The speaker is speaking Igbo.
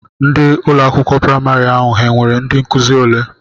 Ndị ụlọakwụkwọ praịmarị ahụ ha nwere ndị nkụzi ole?